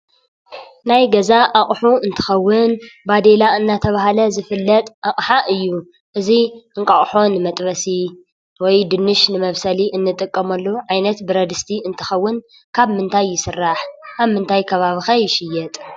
ናይ ገዛ ኣቑሑ እነትኾዉን ባዲላ እናተባሂለ ዝፍለጥ ኣቕሓ እየ። እዚ እን ቃቆሖ መጥበስ ወይ ድማ ዱኑሽ መብሰሊ እነጥቀመሉ ዓይነት ብርዲስት እንትኸውን ካብ ምንታይ ይስራሕ? ኣብምንታይ ከባቢከ ይሽየጥ ?